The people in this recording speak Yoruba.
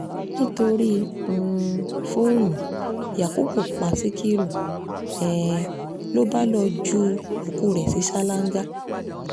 nítorí um fóònù yakubu pa síkírù um ló bá lọ́ọ́ ju òkú ẹ̀ sí ṣáláńgá